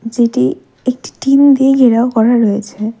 যেটি একটি টিন দিয়ে ঘেরাও করা রয়েছে।